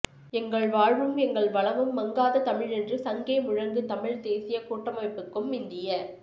எங்கள் வாழ்வும் எங்கள் வளமும் மங்காத தமிழென்று சங்கே முழங்கு தமிழ்த் தேசியக் கூட்டமைப்புக்கும் இந்திய